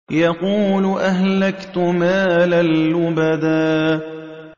يَقُولُ أَهْلَكْتُ مَالًا لُّبَدًا